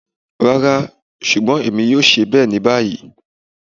Ràrà, ṣugbọn emi yóò ṣe bẹ ni bayi